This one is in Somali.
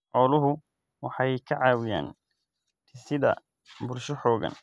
Xooluhu waxay ka caawiyaan dhisidda bulsho xooggan.